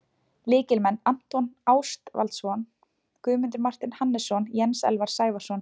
Lykilmenn: Anton Ástvaldsson, Guðmundur Marteinn Hannesson, Jens Elvar Sævarsson,